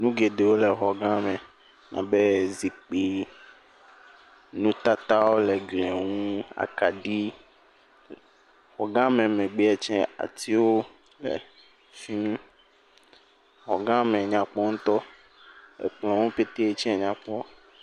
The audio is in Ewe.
Nu geɖewo le xɔgã me abe zikpii, nutatawo le glia ŋu, akaɖi. Xɔgãme megbeɛ tsɛ, atiwo le fi mi. Xɔgãme nyakpɔ ŋutɔ. Ekplɔ̃wo pete tsɛ nyakpɔ.